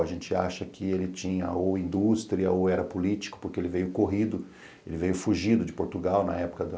A gente acha que ele tinha ou indústria ou era político, porque ele veio corrido, ele veio fugido de Portugal na época da